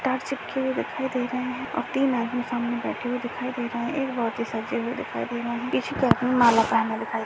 टार चिपके हुए दिखाई दे रहे हैं और तीन आदमी सामने बैठे हुए दिखाई दे रहे हैं एक बहुत ही सजे हुए दिखाई दे रहे हैं। माला पहने दिखाई--